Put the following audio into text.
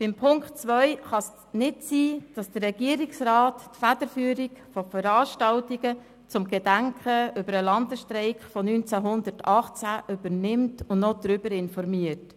Betreffend die Ziffer 2 kann es nicht sein, dass der Regierungsrat die Federführung bei Veranstaltungen zum Gedenken an den Landesstreik von 1918 übernimmt und noch darüber informiert.